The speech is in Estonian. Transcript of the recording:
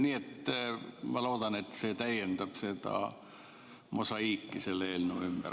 Nii et ma loodan, et see täiendab seda mosaiiki selle eelnõu ümber.